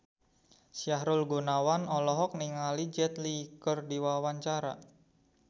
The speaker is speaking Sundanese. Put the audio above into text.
Sahrul Gunawan olohok ningali Jet Li keur diwawancara